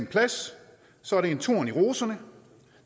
plads så er det en torn i roserne